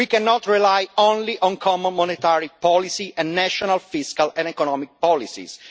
We cannot rely only on common monetary policy and national fiscal and economic policies.